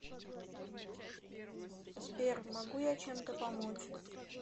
сбер могу я чем то помочь